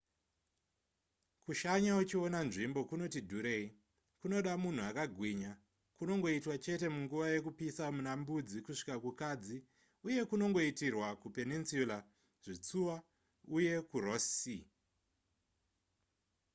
kushanya uchiona nzvimbo kunoti dhurei kunoda munhu akagwinya kunongoitwa chete munguva yekupisa muna mbudzi kusvika kukadzi uye kunongoitirwa kupeninsula zvitsuwa uye kuross sea